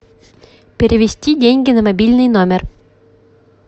перевести деньги на мобильный номер